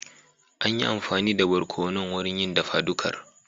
An yi amfani da barkonon wurin yin dafa dukar